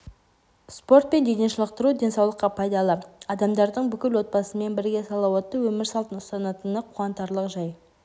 спорт пен дене шынықтыру денсаулыққа пайдалы адамдардың бүкіл отбасымен бірге салауатты өмір салтын ұстанатыны қуантарлық жай